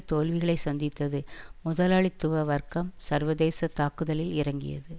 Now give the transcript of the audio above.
தோல்விகளை சந்தித்தது முதலாளித்துவ வர்க்கம் சர்வதேச தாக்குதலில் இறங்கியது